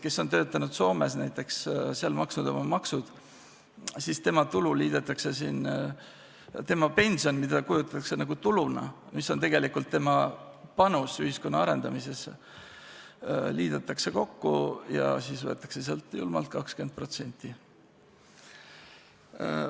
Kes on töötanud Soomes näiteks ja seal maksnud oma maksnud, tema pension, mida võetakse nagu tuluna, mis on tegelikult tema panus ühiskonna arendamisse, liidetakse kokku ja siis võetakse sealt julmalt 20% maha.